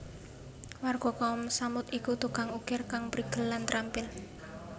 Warga Kaum Tsamud iku tukang ukir kang prigel lan trampil